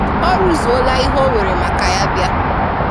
Ọ rụzùọla ihe ọ wèrè maka ya bị̀a.